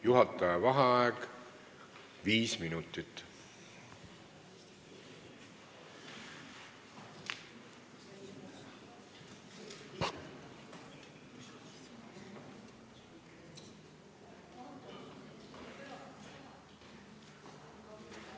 Juhataja vaheaeg viis minutit.